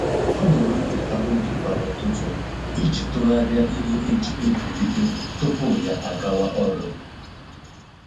Ọ na-ewepụta oge kwa ụtụtụ iji tụgharịa ihe e ji egwuri egwu tupu ya agawa ọrụ